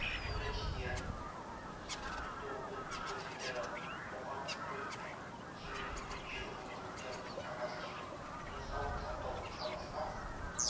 колледждерінде күндізгі бөлімде оқитын студенттерді қоғамдық көлікпен жеңілдікпен жүру мүмкіндігімен қамтамасыз ету денсаулық сақтау саласына